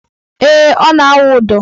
Ee, ọ na - awụ ụdọ